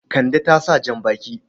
Kande ta sa jan-baki.